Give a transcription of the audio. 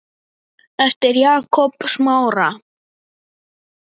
eftir Jakob Smára.